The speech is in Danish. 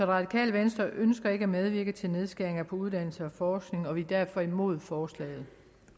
radikale venstre ønsker ikke at medvirke til nedskæringer på uddannelse og forskning og vi er derfor imod forslaget